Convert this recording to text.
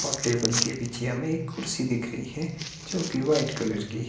और टेबल के पिछे हमें एक कुर्सी दिख रही है जो की वाइट कलर की--